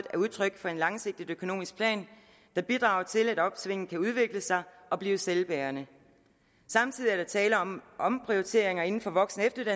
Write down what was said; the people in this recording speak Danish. er udtryk for en langsigtet økonomisk plan der bidrager til at opsvinget kan udvikle sig og blive selvbærende samtidig er der tale om omprioriteringer inden for voksen